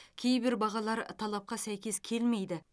кейбір бағалар талапқа сәйкес келмейді